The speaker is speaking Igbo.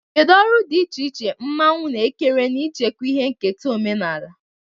Kedu ọrụ dị iche iche mmanwu na-ekere n'ichekwa ihe nketa omenala?